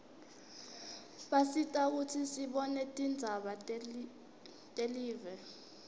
basisita kutsi sibone tindzaba telive